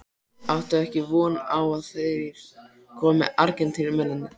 Áttu ekkert von á að þeir komi Argentínumennirnir?